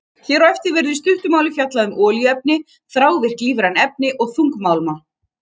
Hér á eftir verður í stuttu máli fjallað um olíuefni, þrávirk lífræn efni og þungmálma.